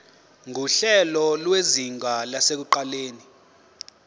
nguhlelo lwezinga lasekuqaleni